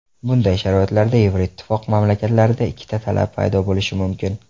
Bunday sharoitlarda Yevroittifoq mamlakatlarida ikkita talab paydo bo‘lishi mumkin.